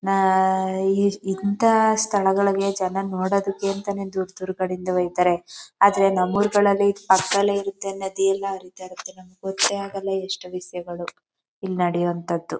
ನಾ ಇಲ್ಲಿ ಇಂತ ಸ್ಥಳಗಳಿಗೆ ಜನ ನೋಡೋದಕ್ಕಂತಾನೆ ದೂರ ದೂರದ ಕಡೆಯಿಂದ ಹೋಯ್ತಾರೆ ಆದರೆ ನಮ್ಮೂರುಗಳಲ್ಲಿ ಪಕ್ಕದಲ್ಲೇ ಇರುತ್ತೆ ನದಿಯೆಲ್ಲ ಹರಿತಾ ಇರುತ್ತೆ ನಮಗೆ ಗೊತ್ತೇ ಆಗಲ್ಲ ಎಷ್ಟೋ ವಿಷಯಗಳು ಇಲ್ಲಿ ನಡೆಯುವಂತದ್ದು.